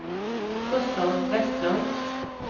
Gustav Vestlund